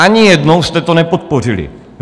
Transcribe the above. Ani jednou jste to nepodpořili.